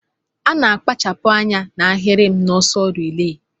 Ana akpachapu anya na ahirim na ọsọ relay.